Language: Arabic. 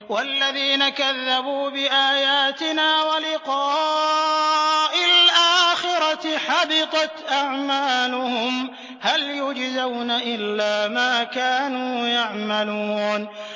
وَالَّذِينَ كَذَّبُوا بِآيَاتِنَا وَلِقَاءِ الْآخِرَةِ حَبِطَتْ أَعْمَالُهُمْ ۚ هَلْ يُجْزَوْنَ إِلَّا مَا كَانُوا يَعْمَلُونَ